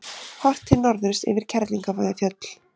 Horft til norðurs yfir Kerlingarfjöll.